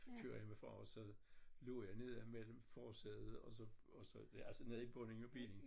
Kører jeg med far og så lå jeg nede mellem forsædet og så og så altså nede i bunden af bilen